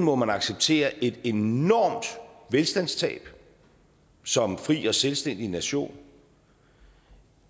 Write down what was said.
må man acceptere et enormt velstandstab som fri og selvstændig nation